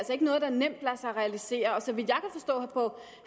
noget der nemt lader sig realisere så vidt